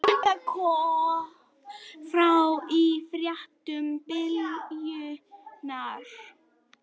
Þetta kom fram í fréttum Bylgjunnar